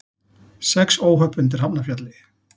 Sex óhöpp undir Hafnarfjalli